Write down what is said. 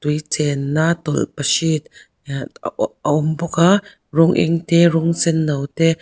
tui chen na tawlhpahrit ahh a awm bawk a rawng eng te rawng senno te--